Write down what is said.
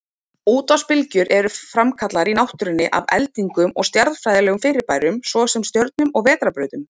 Útvarpsbylgjur eru framkallaðar í náttúrunni af eldingum og stjarnfræðilegum fyrirbærum, svo sem stjörnum og vetrarbrautum.